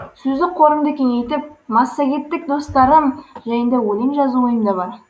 сөздік қорымды кеңейтіп массагеттік достарыым жайында өлең жазу ойымда бар